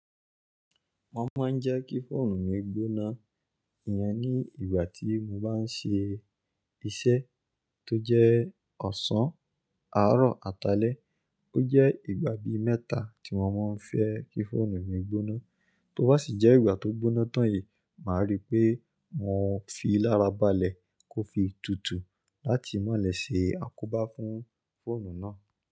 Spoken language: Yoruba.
Wọ́n máa ń jẹ́ kí fóònù mi gbóná ìyen ní ìgbà tí mo bá ń ṣe iṣẹ́ tó jẹ́ ọ̀sán, àárọ̀, àtalá. Ó jẹ́ ìgbà bí mẹ́ta tí wọ́n máa ń fẹ́ kí fóònù mi gbóná, tó bá ṣì jẹ́ ìgbà tó gbóná tán yi, màá rí pé mo fi lára balẹ̀ kó fi tutù láti malẹ̀ ṣe àkobá fún fóònù náà.